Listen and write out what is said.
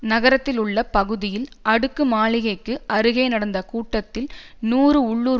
நகரத்திலுள்ள பகுதியில் அடுக்கு மாளிகைக்கு அருகே நடந்த கூட்டத்தில் நூறு உள்ளூர்